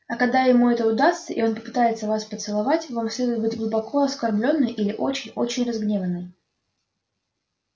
а когда ему это удастся и он попытается вас поцеловать вам следует быть глубоко оскорблённой или очень очень разгневанной